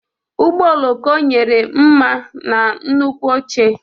Ụgbọ oloko nyere mma na nnukwu oche.